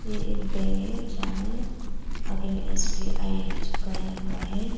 ये एक बैंक है जहाँ में आगे मे एस_बी_आई चिपकाया हुआ है।